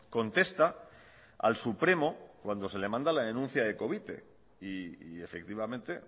contesta al supremo cuando se le manda la denuncia de covite y efectivamente